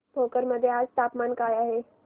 भोकर मध्ये आज तापमान काय आहे